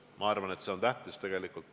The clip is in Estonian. Ma arvan, et see on tähtis.